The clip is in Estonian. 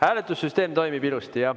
Hääletussüsteem toimib ilusti.